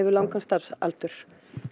langan starfsaldur